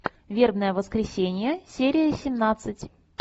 вербное воскресенье серия семнадцать